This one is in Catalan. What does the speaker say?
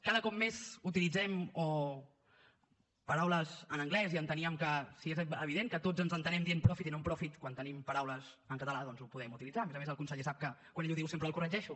cada cop més utilitzem paraules en anglès i enteníem que si és evident que tots ens entenem dient profit i non profit quan tenim paraules en català doncs les podem utilitzar a més a més el conseller sap que quan ell ho diu sempre el corregeixo